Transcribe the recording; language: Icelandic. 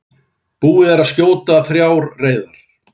Búið að skjóta þrjár reyðar